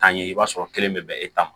Taa ye i b'a sɔrɔ kelen bɛ bɛn e ta ma